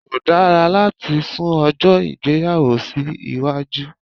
Kò dára láti sun ọjó ìgbéyàwó sí iwájú